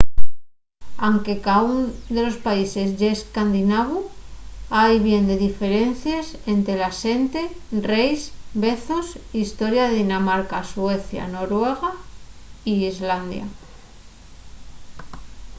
anque caún de los países ye escandinavu” hai bien de diferencies ente la xente reis vezos y historia de dinamarca suecia noruega y islandia